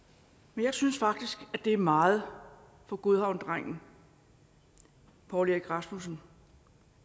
men jeg synes faktisk det er meget for godhavnsdrengen poul erik rasmussen